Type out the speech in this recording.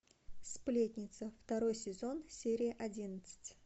сплетница второй сезон серия одиннадцать